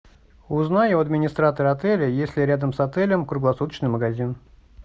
узнай у администратора отеля есть ли рядом с отелем круглосуточный магазин